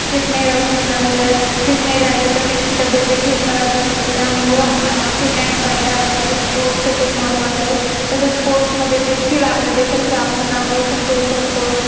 Fit नाही राहू शकणार व ते Fit नाही राहिले तर त्यांची तब्येत देखील खराब होऊ शकते. त्यामुळे Fit and fine राहण्यासाठी Sports खुप महत्वाचं आहे. तसेच Sports मध्ये देखील आपल्या देशाचं आपण नाव रोशन करू शकतो